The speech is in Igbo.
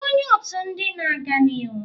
Ị bụ onye otu ndị na-aga n'ihu""?